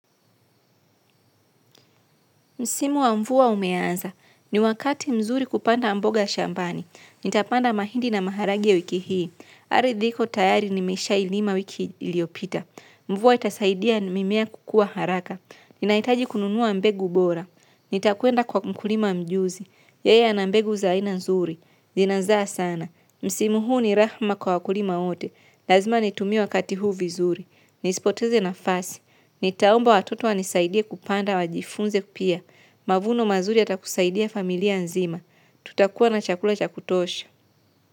Msimu wa mvua umeanza. Ni wakati mzuri kupanda mboga shambani. Nitapanda mahindi na maharage wiki hii. Ardhi iko tayari nimeshailima mwaka uliopita. Mvua itasaidia mimea kukua haraka. Ninahitaji kununua mbegu bora. Nitakuenda kwa mkulima mjuzi. Yeye ana mbegu za aina nzuri. Zinazaa sana. Msimu huu ni rahma kwa kulima wote. Lazima nitumie wakati huu vizuri. Nisipoteze nafasi. Nitaomba watoto wanisaidie kupanda wajifunze pia. Mavuno mazuri yatakusaidia familia nzima. Tutakuwa na chakula cha kutosha.